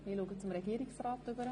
Ich blicke zu Regierungsrat Käser.